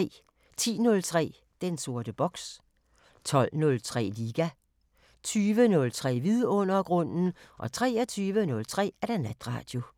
10:03: Den sorte boks 12:03: Liga 20:03: Vidundergrunden 23:03: Natradio